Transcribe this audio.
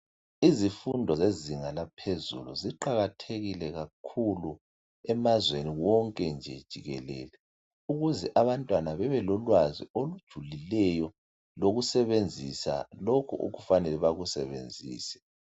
Izifundo zezinga laphezulu ziqakathekile kakhulu emazweni wonke nje jikelele ukuze abantwana bebelolwazi olujulileyo lokusebenzisa lokhu okufanele bakusebenzise.